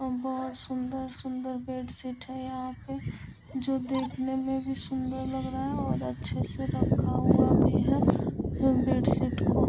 और बहुत सुंदर-सुंदर बेडशीट है यहाँ पे जो देखने में भी सुंदर लग रहा है और अच्छे से रखा हुआ भी है फिर बेडशीट को --